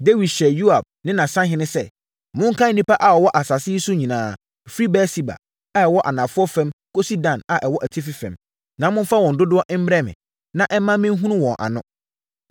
Dawid hyɛɛ Yoab ne nʼasahene sɛ, “Monkan nnipa a wɔwɔ asase yi so nyinaa firi Beer-Seba a ɛwɔ anafoɔ fam kɔsi Dan a ɛwɔ atifi fam, na momfa wɔn dodoɔ mmrɛ me, na ɛmma menhunu wɔn ano.”